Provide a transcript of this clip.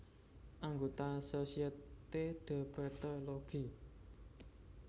Anggota Société de Pathologie